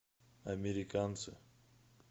американцы